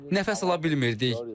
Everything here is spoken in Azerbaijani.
Nəfəs ala bilmirdik.